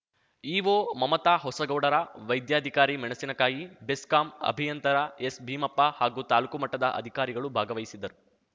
EO Mamata ಹೊಸಗೌಡರ ವೈದ್ಯಾಧಿಕಾರಿ ಮೆಣಸಿನಕಾಯಿ ಬೆಸ್ಕಾಂ ಅಭಿಯಂತರ ಎಸ್‌ಭೀಮಪ್ಪ ಹಾಗೂ ತಾಲೂಕು ಮಟ್ಟದ ಅಧಿಕಾರಿಗಳು ಭಾಗವಹಿಸಿದ್ದರು